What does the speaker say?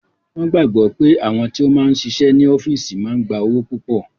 Wọn gbàgbọ́ pé àwọn tí ó máa ń ṣiṣẹ́ ní ọ́físì máa ń gba owó púpọ̀